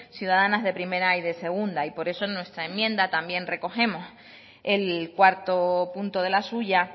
ciudadanas de primera y de segunda por eso en nuestra enmienda también recogemos el cuarto punto de la suya